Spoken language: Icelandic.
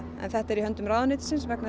en þetta er í höndum ráðuneytisins vegna